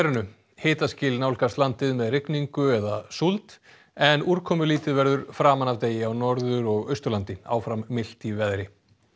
hitaskil nálgast landið með rigningu eða súld en úrkomulítið verður framan af degi á Norður og Austurlandi áfram milt í veðri